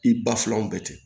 I ba filaw bɛɛ kɛ